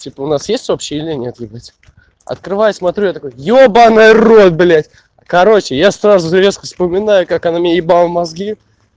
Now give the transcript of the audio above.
типа у нас есть общее или нет ебать открываю смотрю я такой ёбанный рот блядь короче я сразу же резко вспоминаю как она мне ебала мозги